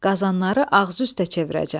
Qazanları ağzıüstə çevirəcəm.